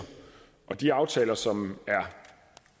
og de aftaler som er